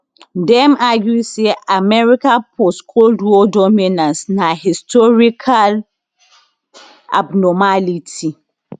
dem argue say america postcold war dominance na historical abnormality